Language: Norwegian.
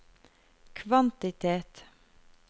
kvantitet